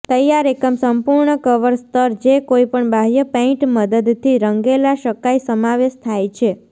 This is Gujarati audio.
તૈયાર એકમ સંપૂર્ણ કવર સ્તર જે કોઈપણ બાહ્ય પેઇન્ટ મદદથી રંગેલા શકાય સમાવેશ થાય છે